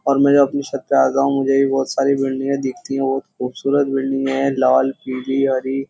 और मैं जो अपनी छत पे आता हूं मुझे भी बहुत सारी बिल्डिंग दिखती हैं बहुत खूबसूरत बिल्डिंग है लाल पीली हरी --